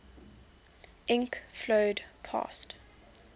ink flowed past